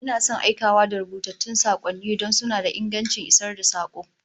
Ina son aikawa da rubutattun sakonni don suna da ingancin isar da sako